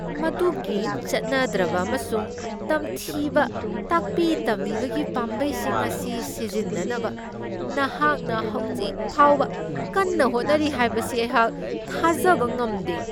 ꯃꯗꯨꯒꯤ ꯆꯠꯅꯗ꯭ꯔꯕ ꯑꯃꯁꯨꯡ ꯇꯝꯊꯤꯕ ꯇꯥꯛꯄꯤ ꯇꯝꯕꯤꯕꯒꯤ ꯄꯥꯝꯕꯩꯁꯤꯡ ꯑꯁꯤ ꯁꯤꯖꯤꯟꯅꯅꯕ ꯅꯍꯥꯛꯅ ꯍꯧꯖꯤꯛ ꯐꯥꯎꯕ ꯀꯟꯅ ꯍꯣꯠꯅꯔꯤ ꯍꯥꯏꯕꯁꯤ ꯑꯩꯍꯥꯛ ꯊꯥꯖꯕ ꯉꯝꯗꯦ!